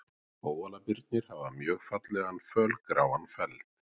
kóalabirnir hafa mjög fallegan fölgráan feld